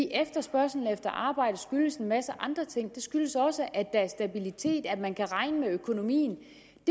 efterspørgslen efter arbejde skyldes en masse andre ting den skyldes også at der er stabilitet at man kan regne med økonomien